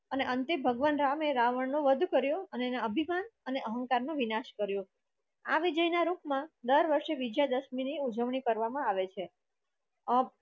અને અંતે ભગવાન રામે રાવણનો વધ કર્યું અને એનું અભિમાન અને અહંકાર નો વિનાશ કર્યો આ વિજય ના રૂપમાં વિજયાદશમીની ઉજવણી કરવામાં આવે છે. અ